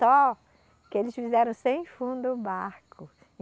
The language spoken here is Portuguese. Só que eles fizeram sem fundo o barco.